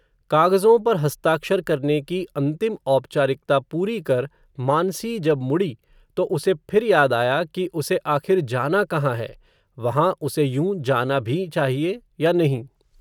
कागज़ों पर हस्ताक्षर करने की अंतिम औपचारिकता पूरी कर, मानसी जब मुडी, तो उसे फिर याद आया, कि उसे आखिर जाना कहाँ है, वहाँ उसे यूँ जाना भी चाहिए या नहीं